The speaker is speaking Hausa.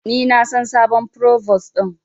Ni na san sabon provos din.